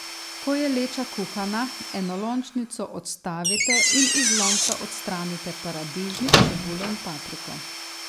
Ko je leča kuhana, enolončnico odstavite in iz lonca odstranite paradižnik, čebulo in papriko.